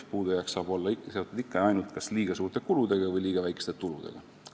" Puudujääk saab olla seotud ikka ja ainult kas liiga suurte kuludega või liiga väikeste tuludega.